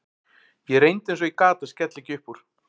Ég reyndi eins og ég gat að skella ekki upp úr.